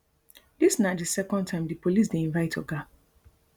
dis na di second time di police dey invite oga